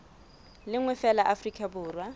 le nngwe feela afrika borwa